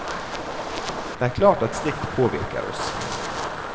Det er klart at slikt påvirker oss.